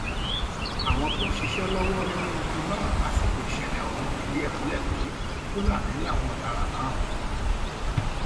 àwọn tó ń ṣiṣẹ lọwọ nínú ọkọ náà lásìkò ìṣẹlẹ ọhún um fìdí ẹ múlẹ pé fúlàní um làwọn ọdaràn náà